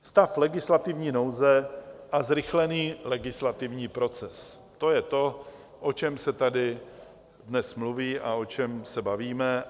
Stav legislativní nouze a zrychlený legislativní proces, to je to, o čem se tady dnes mluví a o čem se bavíme.